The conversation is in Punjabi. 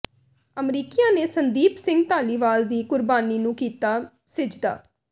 ਅਮਰੀਕੀਆਂ ਨੇ ਸੰਦੀਪ ਸਿੰਘ ਧਾਲੀਵਾਲ ਦੀ ਕੁਰਬਾਨੀ ਨੂੰ ਕੀਤਾ ਸਿਜਦਾ